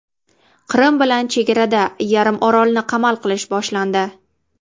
Qrim bilan chegarada yarimorolni qamal qilish boshlandi.